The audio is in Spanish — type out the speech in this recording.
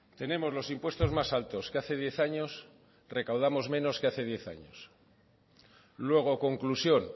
tenemos los impuestos más altos que hace diez años recaudamos menos que hace diez años luego conclusión